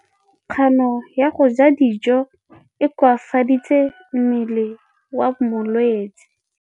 Kganô ya go ja dijo e koafaditse mmele wa molwetse.